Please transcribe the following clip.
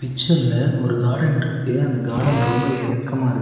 பிச்சர்ல ஒரு கார்டன் இருக்கு. அந்த கார்டன் ரொம்ப இறக்கமா இருக்--